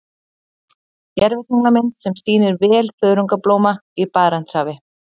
Gervitunglamynd sem sýnir vel þörungablóma í Barentshafi.